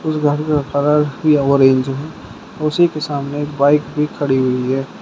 उस घर में किया हुआ ओरेंज है उसी के सामने एक बाइक भी खड़ी हुई है।